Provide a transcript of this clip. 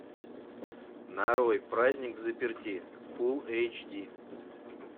нарой праздник взаперти фул эйч ди